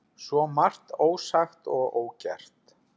Svo margt ósagt og ógert.